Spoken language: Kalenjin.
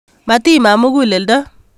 Matiiman muguleldo